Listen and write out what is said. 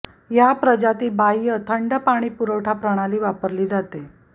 या प्रजाती बाह्य थंड पाणी पुरवठा प्रणाली वापरली जाते